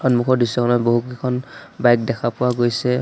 সন্মুখৰ দৃশ্যখনত বহুকেইখন বাইক দেখা পোৱা গৈছে।